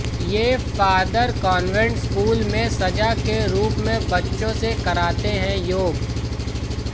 ये father convent school में सजा के रूप में बच्चों से कराते हैं योग